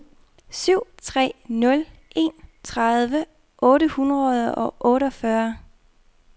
syv tre nul en tredive otte hundrede og otteogfyrre